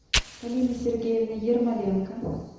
полины сергеевны ермоленко